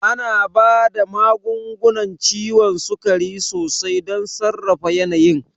Ana ba da magungunan ciwon sukari sosai don sarrafa yanayin.